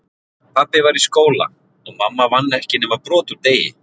Pabbi var í skóla, og mamma vann ekki nema brot úr degi